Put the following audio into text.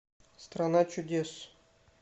страна чудес